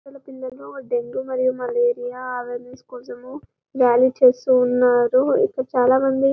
ఇక్కడ పిలల్లు డెంగీ మరియు మలేరియా అవేర్నెస్ కోసం ర్యాలీ చేస్తున్నారు ఇక్కడ చాలామంది --